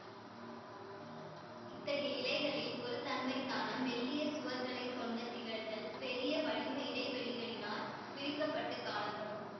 இத்தகைய இலைகளில் ஒருதன்மைத்தான மெல்லிய சுவர்களைக் கொண்ட திசுள்கள் பெரிய வளிம இடைவெளிகளினால் பிரிக்கப்பட்டுக் காணப்படும்